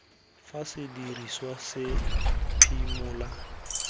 fa se dirisiwa se phimole